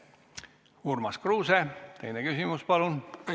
Urmas Kruuse, teine küsimus, palun!